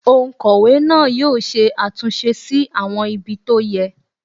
Òǹkọ̀wẹ́ yóò ṣe àtúnṣe sí àwọn ibi tó yẹ